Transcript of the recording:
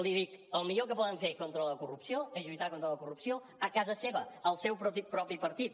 li dic el millor que poden fer contra la corrupció és lluitar contra la corrupció a casa seva al seu propi partit